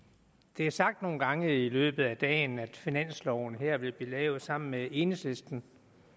det er sagt nogle gange i løbet af dagen at finansloven her vil blive lavet sammen med enhedslisten